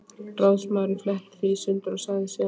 Ráðsmaðurinn fletti því í sundur og sagði síðan